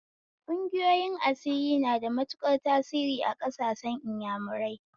Ƙungiyoyin asiri na da matuƙar tasiri a ƙasar inyamurai